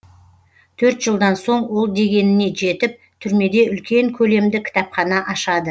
төрт жылдан соң ол дегеніне жетіп түрмеде үлкен көлемді кітапхана ашады